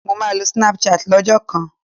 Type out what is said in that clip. Mo máa lo snap chat ní ọjọ́ kan